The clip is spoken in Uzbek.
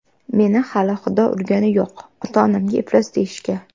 Meni hali Xudo urgani yo‘q, ota-onamga iflos deyishga.